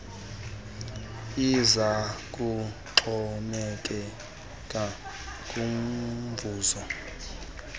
iza kuxhomekeka kumvuzo